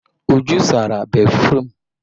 Uju sara béfrụm.